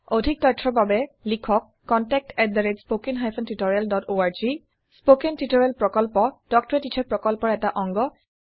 অধিক তথ্যৰ বাবে লিখক contactspoken tutorialorg স্পৌকেন টিওটৰিয়েল প্ৰকল্প তাল্ক ত a টিচাৰ প্ৰকল্পৰ এটা অংগ